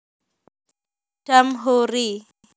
Damhoeri